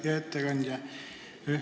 Hea ettekandja!